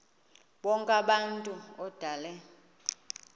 bonk abantu odale